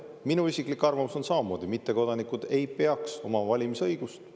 Minu isiklik arvamus on samamoodi, et mittekodanikud ei peaks omama valimisõigust.